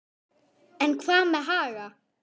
En hvað með Haga?